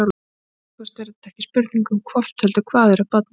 Að minnsta kosti er þetta ekki spurning um hvort heldur hvað er að barninu.